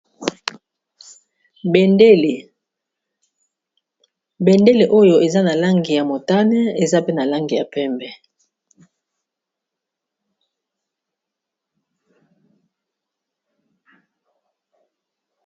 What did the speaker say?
Bendele, bendele oyo eza na langi ya motane eza pe na langi ya pembe.